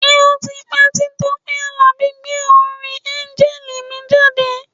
Ṣé ó ti pẹ́ tí Tọ́pẹ́ Àlàbí gbé orin Áńgẹ́lì mi jáde?